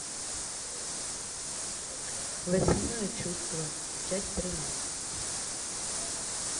восьмое чувство часть тринадцать